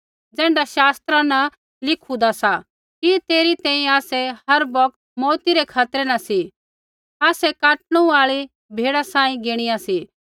ज़ैण्ढा शास्त्रा लिखूदा सा कि तेरै तैंईंयैं आसै हर बौगत मौऊती रै खतरै न सी आसै काटणू आई भेड़ा बराबर गिणीया सी